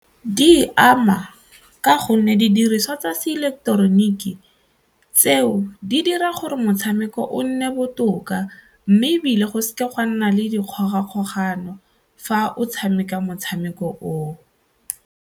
Di e ama ka gonne didiriswa tsa seileketeroniki tseo di dira gore motshameko o nne botoka mme ebile go seka ga nna le dikgogakgogano fa o tshameka motshameko oo.